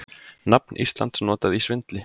Nafn Íslands notað í svindli